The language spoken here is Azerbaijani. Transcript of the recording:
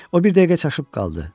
O bir dəqiqə çaşıb qaldı.